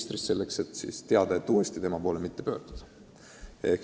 Seda selleks, et oleks teada, et uuesti ei maksa tema poole pöörduda.